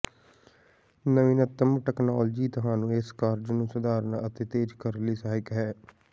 ਨਵੀਨਤਮ ਤਕਨਾਲੋਜੀ ਤੁਹਾਨੂੰ ਇਸ ਕਾਰਜ ਨੂੰ ਸਧਾਰਨ ਅਤੇ ਤੇਜ਼ ਕਰਨ ਲਈ ਸਹਾਇਕ ਹੈ